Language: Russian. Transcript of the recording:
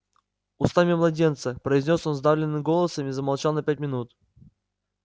устами младенца произнёс он сдавленным голосом и замолчал на пять минут